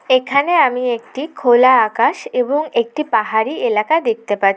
এখানে আমি একটি খোলা আকাশ এবং একটি পাহাড়ি এলাকা দেখতে পাচ--